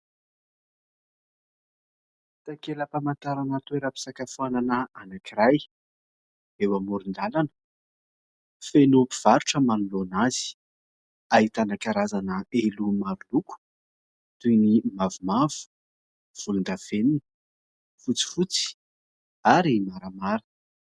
Takela-pamantarana toeram-pisakafoanana anankiray eo amoron-dalana, feno mpivarotra manoloana azy ; ahitana karazana elo maro loko toy ny mavomavo, volondavenona, fotsifotsy ary maramara.